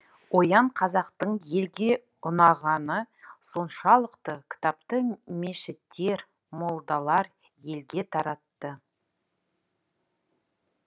оян қазақтың елге ұнағаны соншалықты кітапты мешіттер молдалар елге таратты